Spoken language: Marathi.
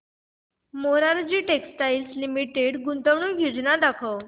मोरारजी टेक्स्टाइल्स लिमिटेड गुंतवणूक योजना दाखव